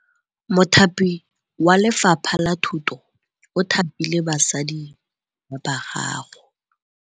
Mothapi wa Lefapha la Thutô o thapile basadi ba ba raro.